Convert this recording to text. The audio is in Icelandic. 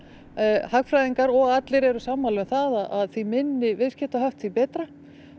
hagfræðingar og allir eru sammála um að því minni viðskiptahöft því betra